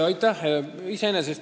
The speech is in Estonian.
Aitäh!